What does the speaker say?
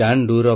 ଆମେ ପାରିବା